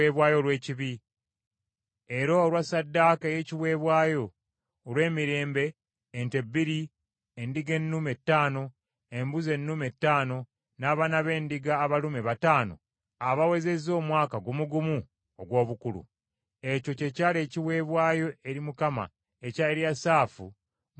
era olwa ssaddaaka ey’ebiweebwayo olw’emirembe: ente bbiri, endiga ennume ttaano, embuzi ennume ttaano, n’abaana b’endiga abalume bataano abawezezza omwaka gumu gumu ogw’obukulu. Ekyo kye kyali ekiweebwayo eri Mukama ekya Eriyasaafu mutabani wa Deweri.